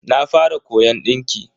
Na fara koyon dinki.